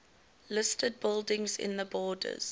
listed buildings in the borders